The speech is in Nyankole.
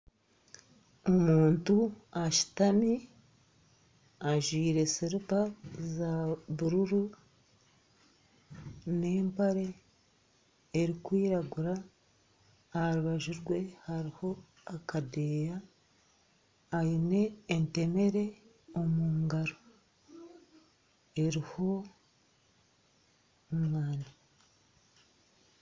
Omuntu ashutami ajwire silipa za bururu, n'empare erikwiragura, aha rubaju rwe hariho akadeeyo, aine entemere omu ngaro eriiho omwani